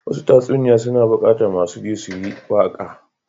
Wasu tatsuniya suna bukatar masu ji su yi waka.